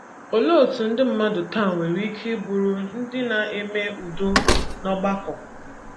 Olee otú ndị mmadụ taa nwere ike isi bụrụ ndị na - eme udo n’ọgbakọ?